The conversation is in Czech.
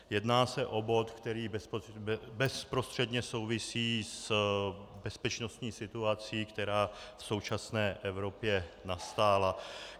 Jedná se o bod, který bezprostředně souvisí s bezpečnostní situací, která v současné Evropě nastala.